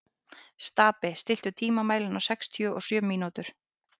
Stapi, stilltu tímamælinn á sextíu og sjö mínútur.